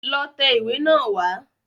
Lọ tẹ ìwé náà wá.